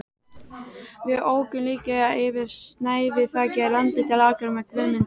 Við ókum líka yfir snæviþakið landið til Akureyrar með Guðmundi